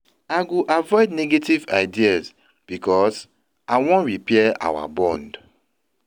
I go avoid negative ideas because I wan repair our bond.